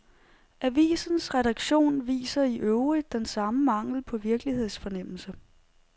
Avisens redaktion viser i øvrigt den samme mangel på virkelighedsfornemmelse.